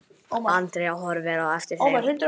Andrea horfir á eftir þeim, biður